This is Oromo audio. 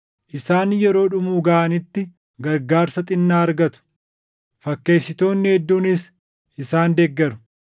Isaan yeroo dhumuu gaʼanitti gargaarsa xinnaa argatu; fakkeessitoonni hedduunis isaan deeggaru.